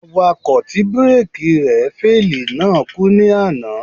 Awakọ̀ tí bíréèkì rẹ̀ féèlì náà kú ní àná.